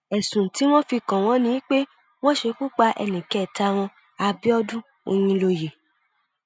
ẹsùn tí wọn fi kàn wọn ni pé wọn ṣekú pa ẹnì kẹta wọn abiodun oyinlóye